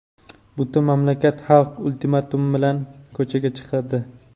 butun mamlakat Xalq Ultimatumi bilan ko‘chaga chiqadi.